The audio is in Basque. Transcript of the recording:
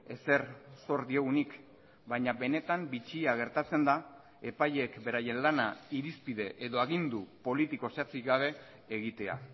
ezer zor diogunik baina benetan bitxia gertatzen da epaileek beraien lana irizpide edo agindu politiko zehatzik gabe egitea